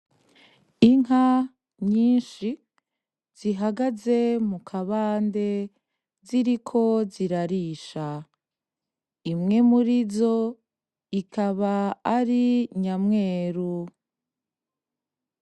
Inka nyinshi zihagaze mukabande ziriko zirarisha, imwe murizo ikaba ari nyamweru.